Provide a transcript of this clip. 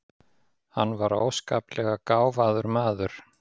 Hann var óskaplega gáfaður maður.